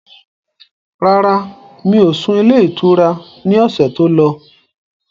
Rárá, mi ò sún ilé ìtura ni ọ̀sẹ̀ tó lọ